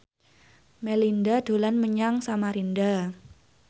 Melinda dolan menyang Samarinda